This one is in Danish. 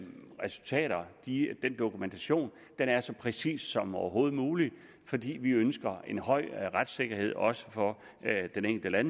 resultater den dokumentation er så præcis som overhovedet muligt fordi vi ønsker en høj retssikkerhed også for den enkelte